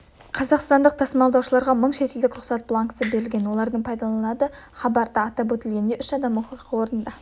хабарда айтылғандай кепілдегілерді босатумен арнайы операция батальоны айналысып жатыр сондай-ақ хабарланғандай бұл жағдай қашуға талпыныс жасаған